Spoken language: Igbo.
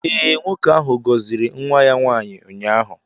Ee, nwoke ahụ gọziri nwa ya nwaanyị ụnyaahụ.